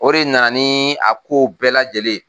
O de nana ni a kow bɛɛ lajɛlen ye.